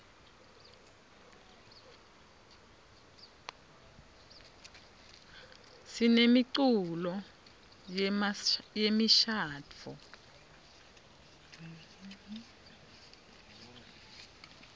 sinemiculo yemishadvo